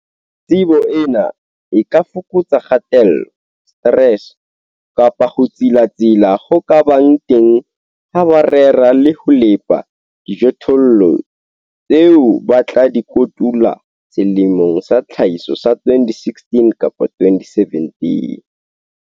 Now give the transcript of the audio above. Tsebo ena e ka fokotsa kgatello, stress, kapa ho tsilatsila ho ka bang teng ha ba rera le ho lepa dijothollo tseo ba tla di kotula selemong sa tlhahiso sa 2016-2017.